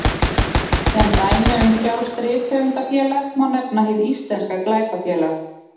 Sem dæmi um frjálst rithöfundafélag má nefna Hið íslenska glæpafélag.